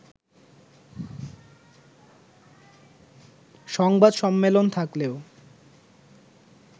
সংবাদ সম্মেলন থাকলেও